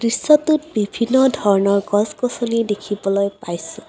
দৃশ্যটোত বিভিন্ন ধৰণৰ গছ-গছনি দেখিবলৈ পাইছোঁ।